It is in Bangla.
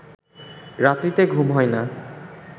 রাত্রিতে ঘুম হয় না